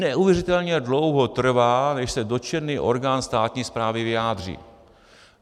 Neuvěřitelně dlouho trvá, než se dotčený orgán státní správy vyjádří.